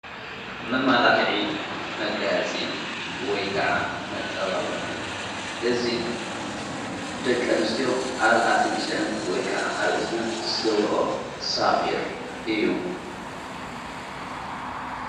መማላኺዒ መጋያጺ ወይ ከዓ መጸባባኺ እዙ ደቀንስኦ ኣብ ኣፍንጨም ወይ ከዓ ኣብ እዝነን ዝገብሮ ሳቝር እዩ::